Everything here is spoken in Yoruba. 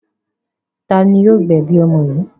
Ta ni yóò gbẹ̀bi ọmọ yìí?